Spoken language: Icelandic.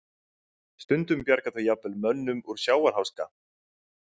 Stundum bjarga þau jafnvel mönnum úr sjávarháska.